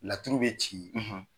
Laturu bɛ ci